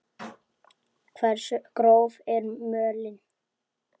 Hversu gróf er mölin?